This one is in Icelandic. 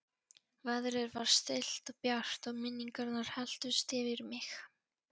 Veðrið var stillt og bjart og minningarnar helltust yfir mig.